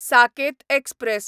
Saket express